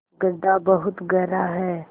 गढ्ढा बहुत गहरा है